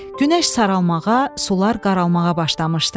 Günəş saralmağa, sular qaralmağa başlamışdı.